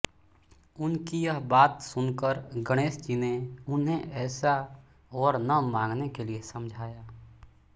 उनकी यह बात सुनकर गणेशजी ने उन्हें ऐसा वर न माँगने के लिए समझाया